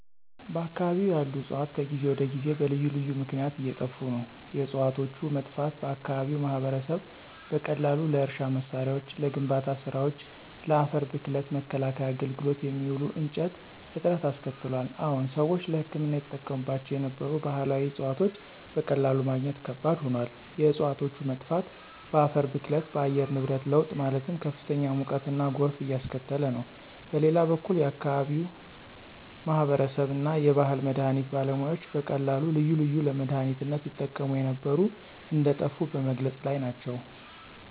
በአከባቢው ያሉ ዕፅዋት ከጊዜ ወደ ጊዜ በልዩ ልዩ ምክነያት እየጠፋ ነው። የዕፅዋቶቹ መጥፋት በአከባቢው ማህበረሰብ በቀላሉ ለእርሻ መሳሪያዎች፣ ለግንባታ ስራወች፣ ለአፈር ብክለት መከላከያ አገልግሎት የሚውሉ እንጨቶች እጥረት አስከትሏል። አዎን ሰዎች ለህክምና ይጠቀሙባቸው የነበሩ ባህላዊ ዕፅዋቶች በቀላሉ ማግኘት ከባድ ሆኗል። የእፅዋቶች መጥፋት በአፈር ብክለት፣ በአየር ንብረት ለውጥ ማለትም ከፍተኛ ሙቀትና ጎርፍ እያስከተለ ነው። በሌላ በኩል የአከባቢው የአከባቢው ማህበረሰብ እና የባህል መድሀኒት ባለሙያዎች በቀላሉ ልዩ ልዩ ለመድሃኒነት ይጠቀሙ የነበሩ እንደጠፉ በመግለፅ ላይ ናቸው።